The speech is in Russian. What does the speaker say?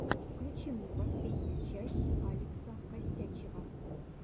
включи мне последнюю часть алекса костячева